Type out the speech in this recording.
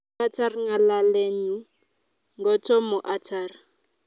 Katar ngalalenyu ngotomo atar